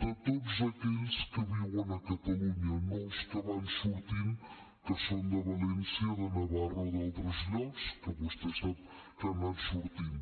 de tots aquells que viuen a catalunya no dels que van sortint que són de valència de navarra o d’altres llocs que vostè sap que han anat sortint